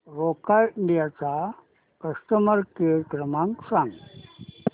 Roca India चा customer care क्रमांक सांगा